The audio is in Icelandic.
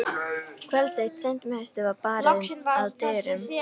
Kvöld eitt seint um haustið var barið að dyrum.